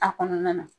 A kɔnɔna na